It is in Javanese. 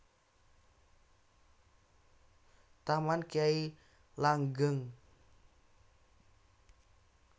Taman Kyai Langgeng